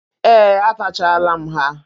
Ee, atachala m ha.